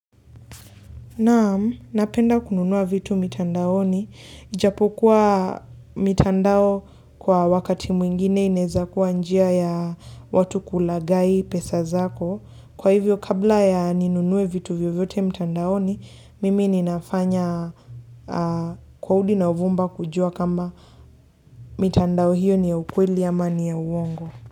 Naam, napenda kununua vitu mitandaoni. Ijapokuwa mitandao kwa wakati mwingine ineza kuwa njia ya watu kulagai pesa zako. Kwa hivyo, kabla ya ninunue vitu vyo vyote mitandaoni, mimi ninafanya kwa hudi na uvumba kujua kama mitandao hiyo ni ya ukweli ama ya uongo.